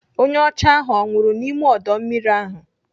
Onye ọcha ahụ ọ nwụrụ n'ime ọdọ mmiri ahụ?